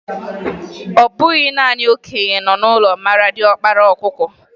Ọ bụ naanị okenye nọ n'ụlọ maara diọkpara ọkụkọ.